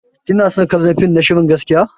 Kina son kallon fim na shirin gaskiya?